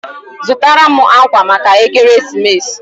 Zụtara m akwa maka ekeresimesi!